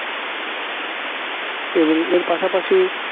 এবং এর পাশাপাশি